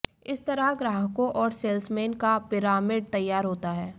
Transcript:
इस तरह ग्राहकों और सेल्समैन का पिरामिड तैयार होता है